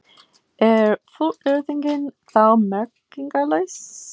Er fullyrðingin þá merkingarlaus?